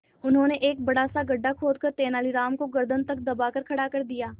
उन्होंने एक बड़ा सा गड्ढा खोदकर तेलानी राम को गर्दन तक दबाकर खड़ा कर दिया